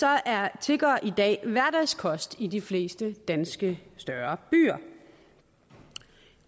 er tiggere i dag hverdagskost i de fleste større danske byer